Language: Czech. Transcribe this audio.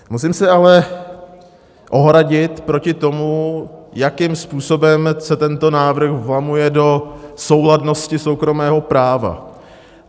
Musím se ale ohradit proti tomu, jakým způsobem se tento návrh vlamuje do souladnosti soukromého práva.